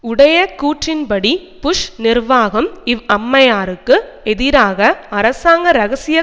உடைய கூற்றின்படி புஷ் நிர்வாகம் இவ் அம்மையாருக்கு எதிராக அரசாங்க இரகசிய